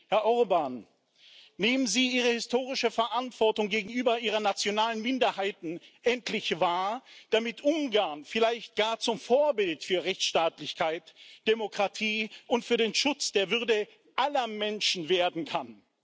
Herr Orbán, nehmen Sie Ihre historische Verantwortung gegenüber Ihren nationalen Minderheiten endlich wahr, damit Ungarn vielleicht gar zum Vorbild für Rechtsstaatlichkeit, Demokratie und für den Schutz der Würde aller Menschen werden kann!